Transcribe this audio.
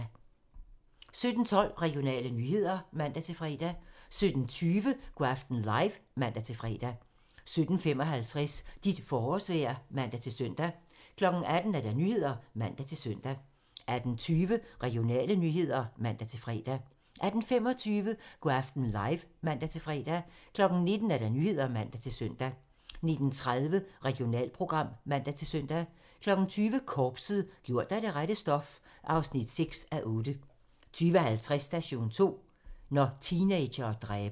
17:12: Regionale nyheder (man-fre) 17:20: Go' aften live (man-fre) 17:55: Dit forårsvejr (man-søn) 18:00: Nyhederne (man-søn) 18:20: Regionale nyheder (man-fre) 18:25: Go' aften live (man-fre) 19:00: Nyhederne (man-søn) 19:30: Regionalprogram (man-søn) 20:00: Korpset - gjort af det rette stof (6:8) 20:50: Station 2: Når teenagere dræber